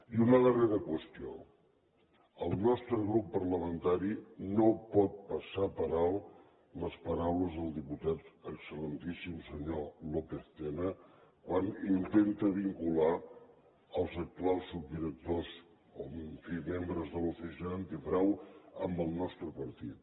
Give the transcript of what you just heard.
i una darrera qüestió el nostre grup parlamentari no pot passar per alt les paraules del diputat excellentíssim senyor lópez tena quan intenta vincular els actuals subdirectors o en fi membres de l’oficina antifrau amb el nostre partit